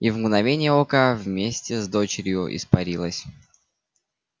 и в мгновение ока вместе с дочерью испарилась